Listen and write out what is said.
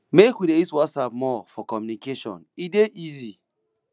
make we dey use whatsapp more for communication e dey easy